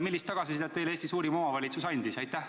Millist tagasisidet Eesti suurim omavalitsus teile andis?